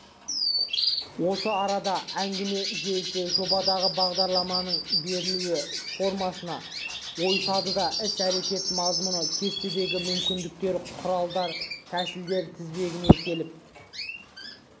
осы арада әңгіме желісі жобадағы бағдарламаның берілу формасына ойысады да іс-әрекет мазмұны кестесіндегі мүмкіндіктер құралдар-тәсілдер тізбегіне келіп